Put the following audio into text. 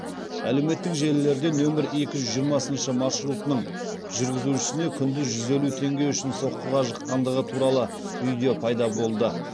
әлеуметтік желілерде нөмір екі жүз жиырмасыншы маршрутының жүргізушісіне күндіз жүз елу теңге үшін соққыға жыққандығы туралы видео пайда болды